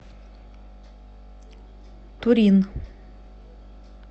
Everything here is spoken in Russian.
турин